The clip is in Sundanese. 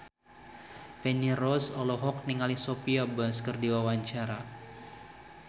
Feni Rose olohok ningali Sophia Bush keur diwawancara